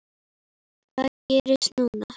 Hvað gerist núna?